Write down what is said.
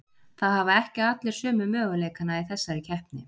Það hafa ekki allir sömu möguleikana í þessari keppni.